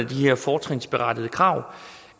til de her fortrinsberettigede krav